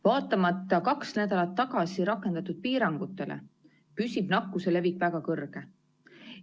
Vaatamata kaks nädalat tagasi rakendatud piirangutele, püsib nakkuse levik väga kõrge.